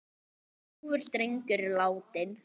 Ljúfur drengur er látinn.